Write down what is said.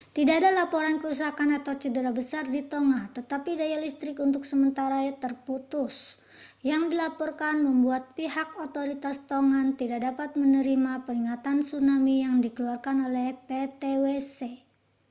tidak ada laporan kerusakan atau cedera besar di tonga tetapi daya listrik untuk sementara terputus yang dilaporkan membuat pihak otoritas tongan tidak dapat menerima peringatan tsunami yang dikeluarkan oleh ptwc